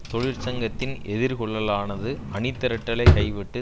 தொழிற்சங்கத்தின் எதிர்கொள்ளலானது அணி திரட்டலை கைவிட்டு